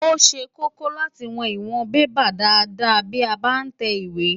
Ó ṣe kókó láti wọn ìwọ̀n bébà dáadáa bí a bá ń tẹ ìwé.